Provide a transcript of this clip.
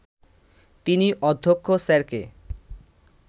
তিনি অধ্যক্ষ স্যারকে